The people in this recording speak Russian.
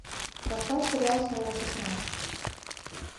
поставь сериал снова шестнадцать